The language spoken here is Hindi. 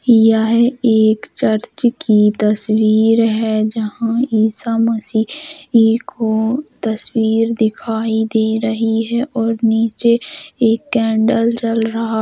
यह एक चर्च की तस्वीर है। जहां ईसा मसीह एक वो तस्वीर दिखाई दे रही है और नीचे एक कैंडल जल रहा--